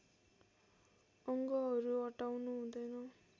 अङ्गहरू हटाउनु हुँदैन